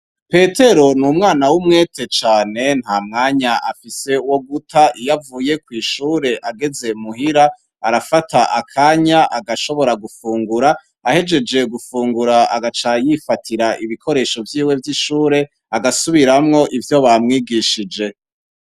Petero ni umwana w'umwete cane, nta mwanya afise woguta, iyo avuye kw'ishure ageze muhira, arafata akanya agashobora gufungura, ahejeje gufungura agaca yifatira ibikoresho vyiwe vy'ishure agasubiramwo ivyo bamwigishije.